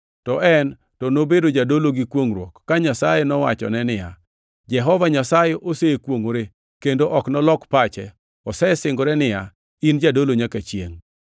to en to nobedo Jadolo gi kwongʼruok ka Nyasaye nowachone niya, “Jehova Nyasaye osekwongʼore kendo ok nolok pache, osesingore niya, ‘In Jadolo nyaka chiengʼ.’ + 7:21 \+xt Zab 110:4\+xt*”